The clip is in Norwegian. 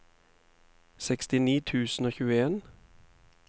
sekstini tusen og tjueen